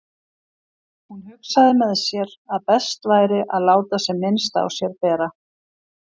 Hún hugsaði með sér að best væri að láta sem minnst á sér bera.